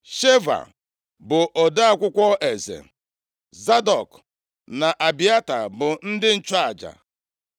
Sheva bụ ode akwụkwọ eze, Zadọk na Abịata bụ ndị nchụaja.